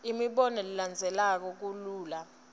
imibono ilandzeleka kalula